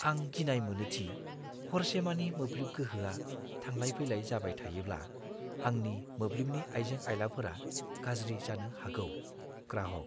आं गिनाय मोनो दि हरसेमानि मोब्लिब गोहोआ थांलाय-फैलाय जाबाय थायोब्ला, आंनि मोब्लिबनि आइजें-आइलाफोरा गाज्रि जानो हागौ। (ग्राहक)